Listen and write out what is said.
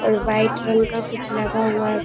और व्हाइट रंग का कुछ लगा हुआ है|